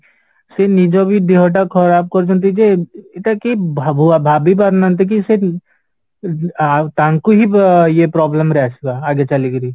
ସେ ନିଜ ବି ଦେହଟା ଖରାପ କରୁଛନ୍ତି ଯେ ଏଇଟା କି ଭାବ ଭାବି ପାରୁନାହାନ୍ତି କି ସେ ଆ ତାଙ୍କୁ ହିଁ ଇଏ problem ରେ ଆସିବା ଆଗ ଚାଲିକରି